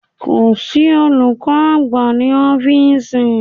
Kò sí olùkọ́ àgbà ní ọ́fíísì.